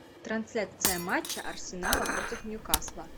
трансляция матча арсенала против ньюкасла